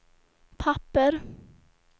papper